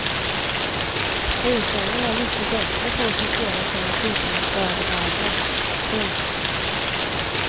Hushållen är mycket bättre på att sortera sina sopor än företagen. punkt